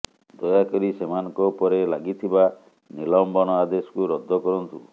ଦୟା କରି ସେମାନଙ୍କ ଉପରେ ଲାଗିଥିବା ନିଲମ୍ବନ ଆଦେଶକୁ ରଦ୍ଦ କରନ୍ତୁ